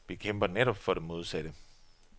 Vi kæmper netop for det modsatte.